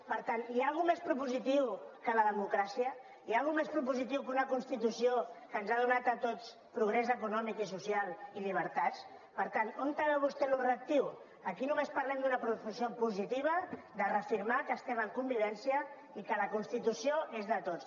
per tant hi ha res més propositiu que la democràcia hi ha res més propositiu que una constitució que ens ha donat a tots progrés econòmic i social i llibertats per tant on veu vostè això de reactiu aquí només parlem d’una proposició positiva de reafirmar que estem en convivència i que la constitució és de tots